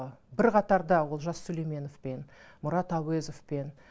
бір қатарда олжас сүлейменовпен мұрат әуезовпен